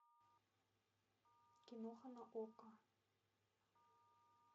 киноха на окко